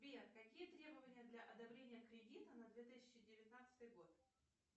сбер какие требования для одобрения кредита на две тысячи девятнадцатый год